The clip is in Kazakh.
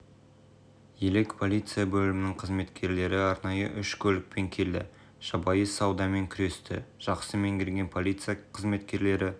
елек полиция бөлімінің қызметкерлері арнайы үш көлікпен келді жабайы саудамен күресті жақсы меңгерген полиция қызметкерлері